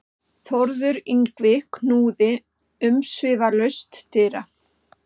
Þórður Yngvi knúði umsvifalaust dyra.